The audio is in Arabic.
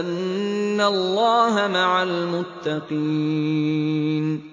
أَنَّ اللَّهَ مَعَ الْمُتَّقِينَ